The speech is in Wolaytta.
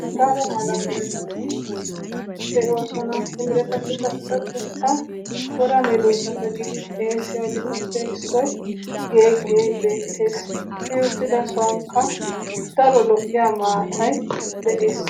daro meretatti de'oosona. ha meretattuppe issoy geeggiya. i uttido sonkka lo'iya maatay de'ees.